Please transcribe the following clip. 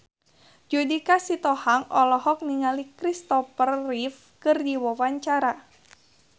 Judika Sitohang olohok ningali Christopher Reeve keur diwawancara